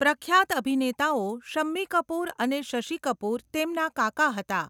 પ્રખ્યાત અભિનેતાઓ શમ્મી કપૂર અને શશિ કપૂર તેમના કાકા હતા.